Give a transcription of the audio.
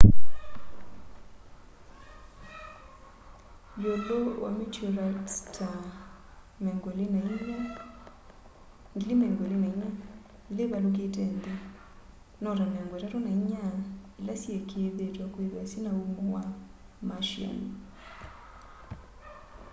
yiulu wa meteorites ta 24,000 ila ivalukite nthi no ta 34 ila syikiithitw'e kwithwa syina umo wa martian